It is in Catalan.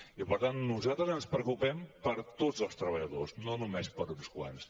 i per tant nosaltres ens preocupem per tots els treballadors no només per uns quants